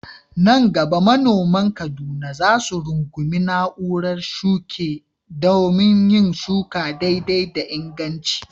Nan gaba manoman Kaduna za su rungumi na'urar shuke domin yin shuka daidai da inganci.